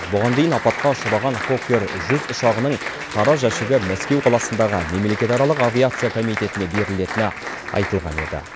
бұған дейін апатқа ұшыраған фоккер жүз ұшағының қара жәшігі мәскеу қаласындағы мемлекетаралық авиация комитетіне берілетіні айтылған еді